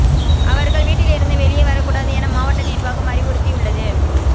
அவர்கள் வீட்டிலிருந்து வெளியே வரக் கூடாது என மாவட்ட நிர்வாகம் அறிவுறுத்தியுள்ளது